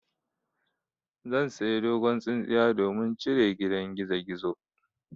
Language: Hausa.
Zan saya dogon tsintsiya domin cire gida gizogizo.